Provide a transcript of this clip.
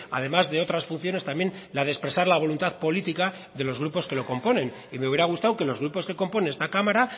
además de otras funciones también la de expresar la voluntad política de los grupos que lo componen y me hubiera gustado que los grupos que componen esta cámara